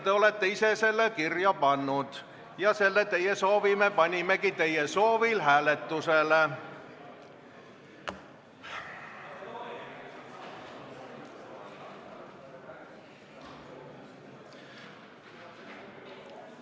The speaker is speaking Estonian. Te olete ise selle kirja pannud ja selle teie soovi me panimegi teie soovil hääletusele.